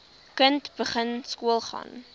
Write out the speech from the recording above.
kind begin skoolgaan